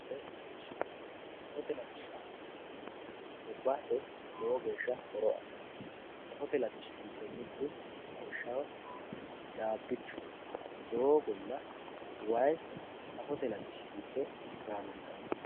safote latishsha safote latishshaati yineemmohu gobbate horo aanno safote latishshi giddo mittu lawishshaho caabbichu doogonna wayi safote latishsi giddo gaamantanno